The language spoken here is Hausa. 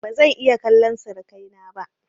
ba zan iya kallan sirikai na ba